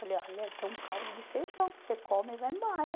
Falei, olha, tem um caldo de feijão, você come e vai embora.